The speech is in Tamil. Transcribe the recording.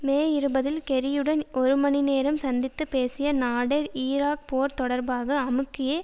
மே இருபதில் கெர்ரியுடன் ஒரு மணிநேரம் சந்தித்து பேசிய நாடெர் ஈராக் போர் தொடர்பாக அமுக்கியே